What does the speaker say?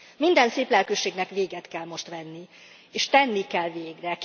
Minden széplelkűségnek véget kell most vetni, és tenni kell végre.